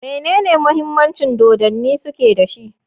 Menene Muhimmancin Dodanni Suke da shi?